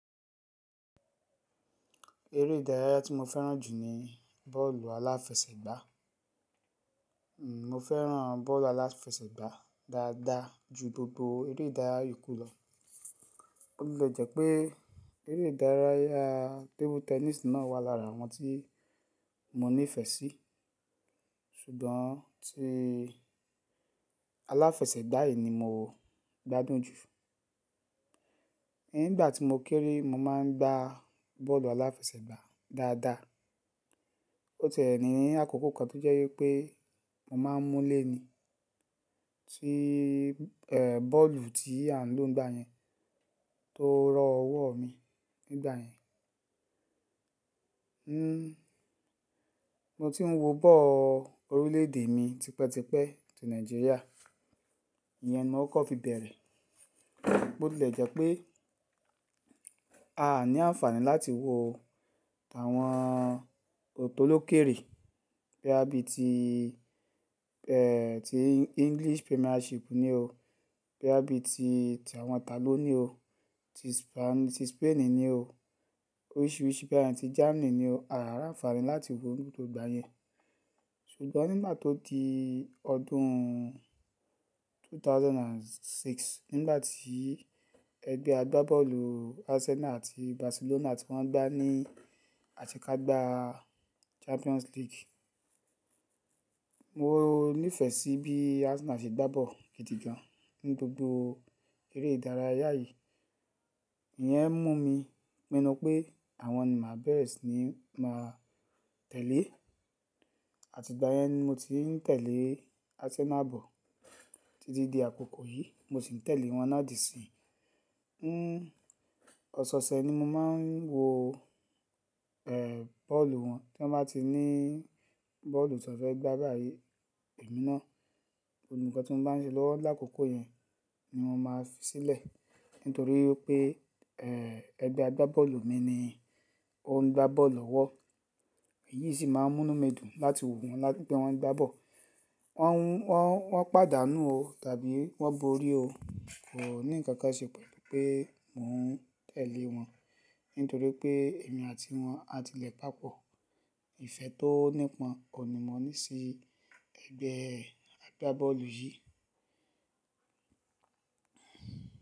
Eré ìdárayá tí mo fẹ́ràn jù ní bọ́ọ̀lù aláfẹsẹ̀gbá. Mo fẹ́ràn bọ́ọ̀lù aláfẹsẹ̀gbá dáadáa ju gbogbo eré ìdárayá yokú lọ. Ó le jẹ́ pé eré ìdárayá hen tabletẹníìsì náà wà lára àwọn tí mo nífẹ̀ẹ́ sí, ṣùgbọ́n tí aláfẹsẹ̀gbá yìí ni mo gbádùn jù. Ní ìgbà tí mo kéré, mo máa ń gbá bọ́ọ̀lù aláfẹsẹ̀gbà dáadáa. Ó ti e ní àkókò kan tó jẹ́ wípé mo máa ń mú lée ní, tí bọ́ọ̀lù tí à ń lò nígbà yẹn tó rọ ọwọ́ mi nígbà yẹn. Mo ti ń wo ball orílẹ̀ èdè mi tipẹ́tipẹ́ ti Nàìjíríà, ìyẹn mọ́ọ̀kọ̀ fi bẹ̀rẹ̀. Botilejẹ́ pé aa ní àǹfààní láti wo àwọn tolókèrè boya bí i tí hen ti English Premiership ní o, boya bí i tí tàwọn taló ní o, ti Spainish ti spaini ni o ní o, oríṣiríṣi bí i àti Germany ni o, a a ní àǹfààní láti wo lóṣù tó ń báyẹn. Ṣùgbọ́n nígbà tó di ọdún ẹgbẹ̀rún méjì ó lé mẹ́fà, nígbà tí ẹgbẹ́ agbábọ́ọ̀lù Arsenal àti Barcelona tí wọ́n gbá ní àṣekágbá aa. Champions League, mo o nífẹ̀ẹ́ sí bí Arsenal ṣe gbá ball gidi gan ní gbogbo eré ìdárayá yìí. Ìyẹn mú mi mọ̀ pé àwọn ni mà bẹ́ẹ̀re si ni máa tẹ̀lé. Àti ìgbà yẹn ni mo ti ń tẹ̀lé Arsenal ball títí di àkókò yìí, mo sì ń tẹ̀lé wọn naa di isin. Ọ̀sọ̀ọ̀sẹ̀ ni mo máa ń wo o ehn bọ́ọ̀lù wọn tọ́n bá ti ní bọ́ọ̀lù tàn fẹ́ ń gbá báyìí ìmi náà. Ekankan ni mọ́n bá ń ṣe lọ́wọ́ lákòókò yẹn ni wọn máa fi sílẹ̀ nítorí pé hen ẹgbẹ́ agbábọ́ọ̀lù mi ni ó ń gbá bọ́ọ̀lù lọ́wọ́. Èyí sì máa ń múnu mí dùn láti wo wọ́n láti pé wọ́n ń gbá ball, Wọ́n o won pàdánù o tàbí wọ́n borí o, kò ní ǹkankan ṣe pẹ̀lú pé mò ń tẹ̀lé wọn nítorí pé èmi àti wọn a ti lẹ̀ papọ̀. Ìfẹ́ tó nípọn òun ní mọ ní sí ẹgbẹ́ e agbábọ́ọ̀lù yìí.